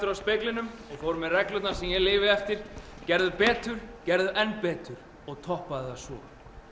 að speglinum og fór með reglurnar sem ég lifi eftir gerðu betur gerðu enn betur og toppaðu það svo